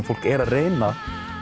fólk er að reyna